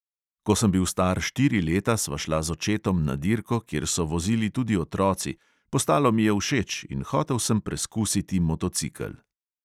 Ko sem bil star štiri leta, sva šla z očetom na dirko, kjer so vozili tudi otroci, postalo mi je všeč in hotel sem preskusiti motocikel.